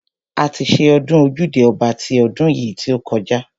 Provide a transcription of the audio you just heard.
A ti ṣe ọdún ojúde ọba ti ọdún yìí kọjá.